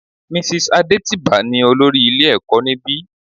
Mrs Adetiba ní olórí ilé ẹ̀kọ́ níbi.